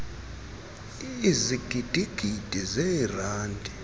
ezigidi gidi zeerandi